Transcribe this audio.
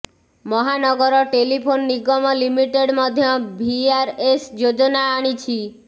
ମହାନଗର telephone Nigam limited ମଧ୍ୟ VRS ଯୋଜନା ଆଣିଛି